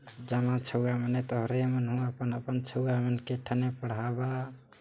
जमा छुवा मने तारे मन आपन-आपन छुवा मन के ठने पढ़ावा --